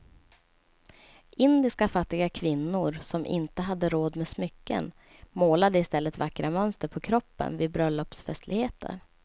Indiska fattiga kvinnor som inte hade råd med smycken målade i stället vackra mönster på kroppen vid bröllopsfestligheter.